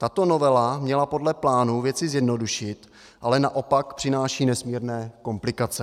Tato novela měla podle plánu věci zjednodušit, ale naopak přináší nesmírné komplikace.